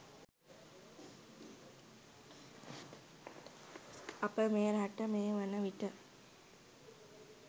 අප මේ රට මේ වනවිට